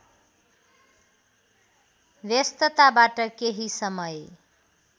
व्यस्तताबाट केही समय